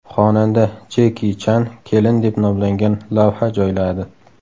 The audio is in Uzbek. Xonanda Jeki Chan kelin deb nomlangan lavha joyladi.